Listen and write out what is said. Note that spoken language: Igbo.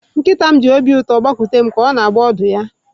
Nkịta m ji obi ụtọ gbakute m, ka ọ na-agba ọdụ ya.